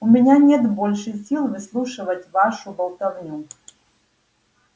у меня нет больше сил выслушивать вашу болтовню